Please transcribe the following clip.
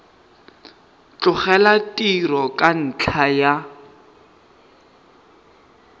tlogela tiro ka ntlha ya